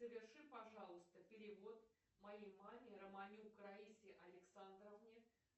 соверши пожалуйста перевод моей маме романюк раисе александровне